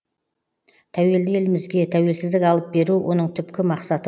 тәуелді елімізге тәуелсіздік алып беру оның түпкі мақсаты